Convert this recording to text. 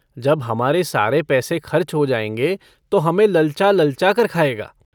जब हमारे सारे पैसे खर्च हो जायेंगे तो हमें ललचा-ललचा कर खाएगा।